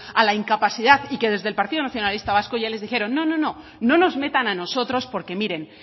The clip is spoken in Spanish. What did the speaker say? a la incapacidad y que desde el partido nacionalista vasco ya les dijeron no no no no nos metan a nosotros porque miren